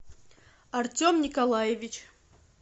артем николаевич